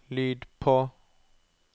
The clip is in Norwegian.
lyd på